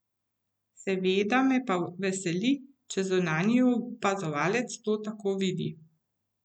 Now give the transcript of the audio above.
Seveda me pa veseli, če zunanji opazovalec to tako vidi.